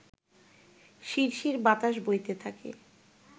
শিরশির বাতাস বইতে থাকে